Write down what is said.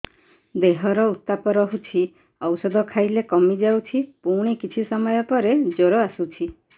ଦେହର ଉତ୍ତାପ ରହୁଛି ଔଷଧ ଖାଇଲେ କମିଯାଉଛି ପୁଣି କିଛି ସମୟ ପରେ ଜ୍ୱର ଆସୁଛି